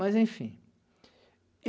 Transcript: Mas enfim.